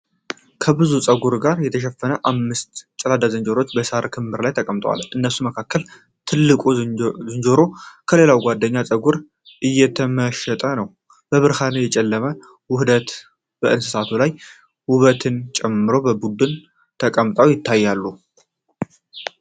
ከብዙ ጸጉር ጋር የተሸፈኑ አምስት ገላዳ ዝንጀሮዎች በሳር ክምር ላይ ተቀምጠዋል። ከእነርሱ መካከል ትልቁ ዝንጀሮ በሌላው ጓደኛው ፀጉሩ እየተመሸጠ ነው። የብርሃንና የጨለማ ውህደት በእንስሳቱ ላይ ውበትን ጨምሮ በቡድን ተቀምጠው ይታያሉ።